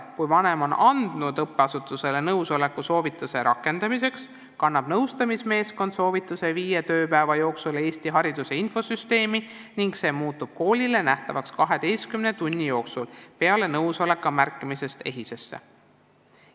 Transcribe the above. Kui vanem on andnud õppeasutusele nõusoleku soovituse rakendamiseks, kannab nõustamismeeskond soovituse viie tööpäeva jooksul Eesti Hariduse Infosüsteemi ning see muutub koolile nähtavaks 12 tunni jooksul peale nõusoleku märkimist EHIS-esse.